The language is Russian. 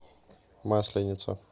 масленица